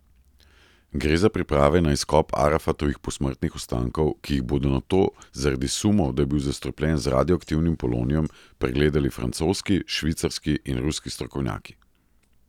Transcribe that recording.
Gre za priprave na izkop Arafatovih posmrtnih ostankov, ki jih bodo nato zaradi sumov, da je bil zastrupljen z radioaktivnim polonijem, pregledali francoski, švicarski in ruski strokovnjaki.